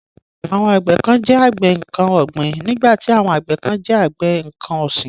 Àwọn àgbẹ kán jẹ́ àgbẹ nǹkan ọ̀gbìn nígbàtí àwọn àgbẹ kán jẹ́ àgbẹ nǹkan ọ̀sìn.